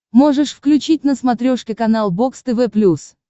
можешь включить на смотрешке канал бокс тв плюс